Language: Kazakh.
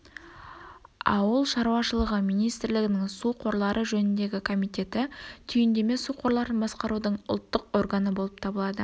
ауыл шаруашылығы министрлігінің су қорлары жөніндегі комитеті түйіндеме су қорларын басқарудың ұлттық органы болып табылады